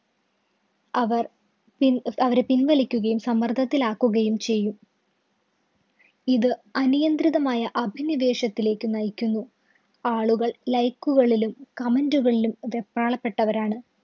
അവര്‍ പിന്‍ അവരെ പിന്‍വലിക്കുകയും സമ്മര്‍ദ്ദത്തിലാക്കുകയും ചെയ്യും. ഇത് അനിയന്ത്രിതമായ അഭിനിവേശത്തിലേക്ക് നയിക്കുന്നു. ആളുകള്‍ like കളിലും comment കളിലും വെപ്രാളപ്പെട്ടവരാണ്.